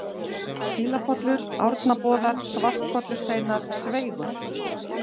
Sílapollur, Árnaboðar, Svartkollusteinar, Sveigur